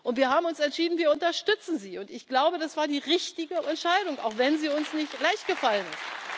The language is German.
Wir haben uns entschieden, wir unterstützen sie, und ich glaube, das war die richtige Entscheidung, auch wenn sie uns nicht leicht gefallen